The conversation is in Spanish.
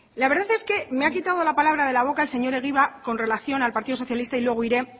la verdad es que me ha quitado la palabra de la boca señor egibar con relación al partido socialista y luego iré